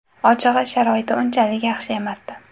Ochig‘i, sharoiti unchalik yaxshi emasdi.